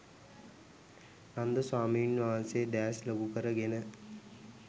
නන්ද ස්වාමීන් වහන්සේ දෑස් ලොකු කර ගෙන